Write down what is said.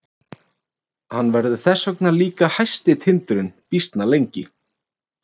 Hann verður þess vegna líka hæsti tindurinn býsna lengi.